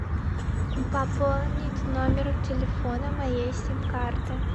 пополнить номер телефона моей сим карты